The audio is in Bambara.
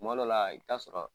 Kuma dɔ la i bɛ ta sɔrɔ.